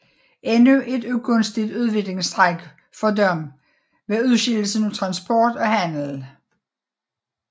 Endnu et ugunstigt udviklingstræk for dem var udskillelsen af transport og handel